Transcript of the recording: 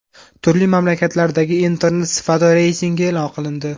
Turli mamlakatlardagi Internet sifati reytingi e’lon qilindi.